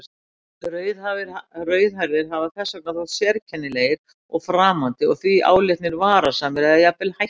Rauðhærðir hafa þess vegna þótt sérkennilegir og framandi og því álitnir varasamir eða jafnvel hættulegir.